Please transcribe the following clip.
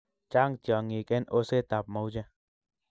chang tiongik en oset ab mauche